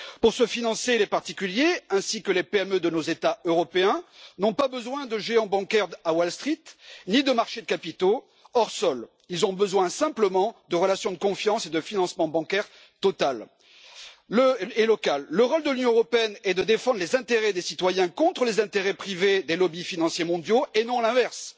Pour se financer, les particuliers ainsi que les petites et moyennes entreprises de nos États européens n'ont pas besoin de géants bancaires à Wall Street, ni de marchés de capitaux hors sol, ils ont simplement besoin de relations de confiance et de financement bancaire totales et locales. Le rôle de l'Union européenne est de défendre les intérêts des citoyens contre les intérêts privés des lobbies financiers mondiaux et non l'inverse.